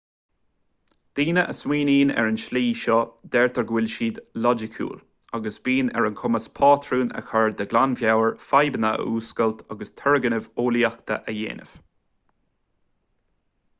daoine a smaoiníonn ar an tslí seo deirtear go bhfuil siad loighciúil agus bíonn ar a gcumas patrúin a chur de ghlanmheabhair fadhbanna a fhuascailt agus turgnaimh eolaíochta a dhéanamh